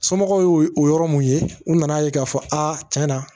Somɔgɔw y'o yɔrɔ mun ye u nana ye k'a fɔ a tiɲɛ na